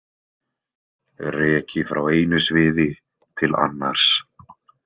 Reki frá einu sviði til annars.